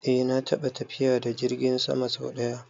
Eh na taɓa tafiya da jirgin sama sau ɗaya